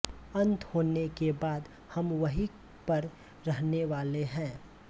अंत होने के बाद हम वहीं पर रहने वाले है